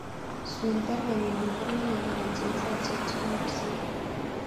Swen baruenyun en baruet nelelach en saisiek chegagosir